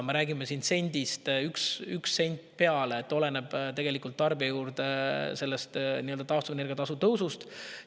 Me räägime umbes sendist – 1 sent peale, oleneb –, tarbijale juurde sellest taastuvenergia tasu tõusust.